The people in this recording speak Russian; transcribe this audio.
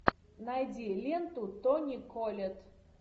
найди ленту тони коллетт